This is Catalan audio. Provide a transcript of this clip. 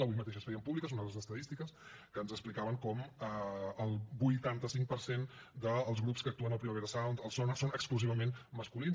avui mateix es feien públiques unes estadístiques que ens explicaven com el vuitanta cinc per cent dels grups que actuen al primavera sound al sónar són exclusivament masculins